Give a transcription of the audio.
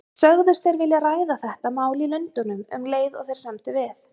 Sögðust þeir vilja ræða þetta mál í Lundúnum, um leið og þeir semdu við